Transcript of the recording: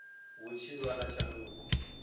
hu tshi vha na tshanduko